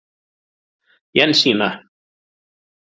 Jensína